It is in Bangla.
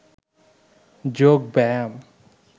যোগ ব্যায়াম